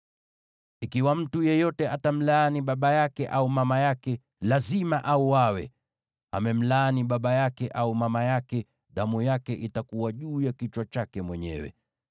“ ‘Ikiwa mtu yeyote atamlaani baba yake au mama yake, lazima auawe. Amemlaani baba yake au mama yake, nayo damu yake itakuwa juu ya kichwa chake mwenyewe.